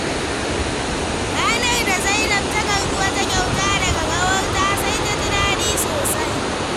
Ranar da Zainab ta karɓi wata kyauta daga ƙawarta, sai ta ji daɗi sosai.